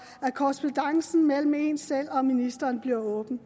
at korrespondancen mellem en selv og ministeren bliver åben